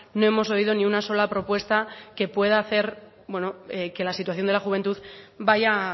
no hemos oído ni una sola propuesta que puede hacer que la situación de la juventud vaya